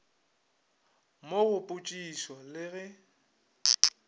mo go potšišišo le ge